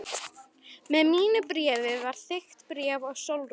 Með mínu bréfi var þykkt bréf til Sólrúnar.